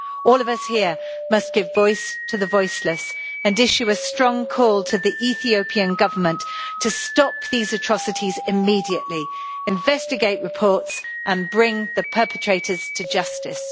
All of us here must give voice to the voiceless and issue a strong call to the Ethiopian Government to stop these atrocities immediately, investigate reports and bring the perpetrators to justice.